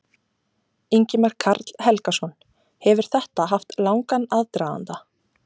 Ingimar Karl Helgason: Hefur þetta haft langan aðdraganda?